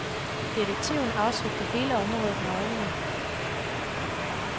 Detektiven afsøgte hele området med øjnene.